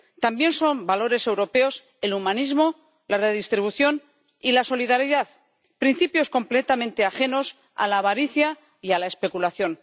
También son valores europeos el humanismo, la redistribución y la solidaridad, principios completamente ajenos a la avaricia y a la especulación.